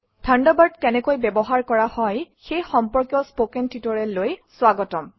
Thunderbird কেনেকৈ ব্যৱহাৰ কৰা হয় সেই সম্পৰ্কীয় কথন শিক্ষণলৈ স্বাগতম